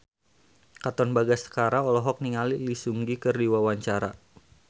Katon Bagaskara olohok ningali Lee Seung Gi keur diwawancara